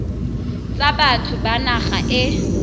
tsa batho ba naga e